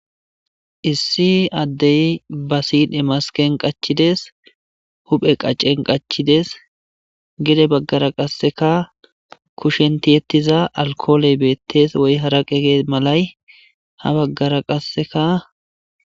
Issi adey ba sidhe masken qachides, huphe qacen qachides,gede bagara qaseka kushen tiyetiza alkoley betes, woy arqey Malay ha bagara qaseka